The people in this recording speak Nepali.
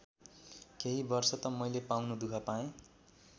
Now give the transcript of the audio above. केही वर्ष त मैले पाउनु दुःख पाएँ।